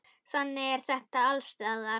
Þannig er þetta alls staðar.